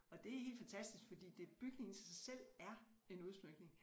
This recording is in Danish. Og det er helt fantastisk fordi det bygningen selv er en udsmykning